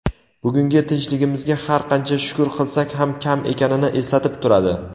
bugungi tinchligimizga har qancha shukur qilsak ham kam ekanini eslatib turadi.